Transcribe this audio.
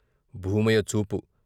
భూమయ్య చూపు.